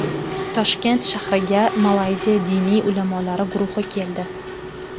Toshkent shahriga Malayziya diniy ulamolari guruhi keldi.